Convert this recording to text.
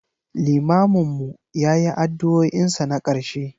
limamin mu ya yi addu'o'in sa na karshe.